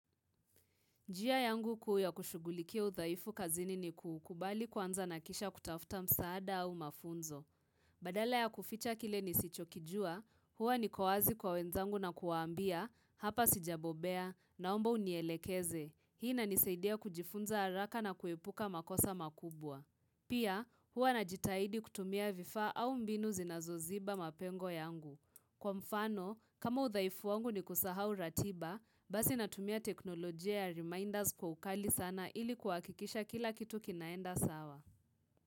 Njia yangu kuu ya kushughulikia udhaifu kazini ni kukubali kwanza na kisha kutafuta msaada au mafunzo. Badala ya kuficha kile nisichokijua, huwa niko wazi kwa wenzangu na kuwaambia, hapa sijabobea, naomba unielekeze. Hii inanisaidia kujifunza haraka na kuepuka makosa makubwa. Pia, huwa najitahidi kutumia vifaa au mbinu zinazoziba mapengo yangu. Kwa mfano, kama udhaifu wangu ni kusahau ratiba, basi natumia teknolojia ya reminders kwa ukali sana ili kuhakikisha kila kitu kinaenda sawa.